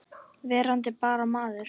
Verandi bara maður.